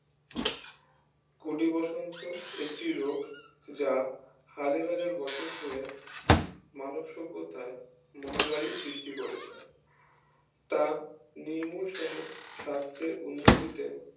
গুটি বসন্ত একটি রোগ যা হাজার হাজার বছর ধরে মানুষ সভ্যতায় মহামারী সৃষ্টি করেছে তা নির্মূল সোহো সাস্থের উন্নতিতে